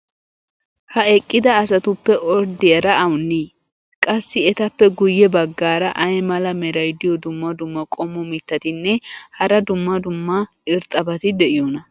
ha eqqida asatuppe orddiyaara awunii? qassi etappe guye bagaara ay mala meray diyo dumma dumma qommo mitattinne hara dumma dumma irxxabati de'iyoonaa?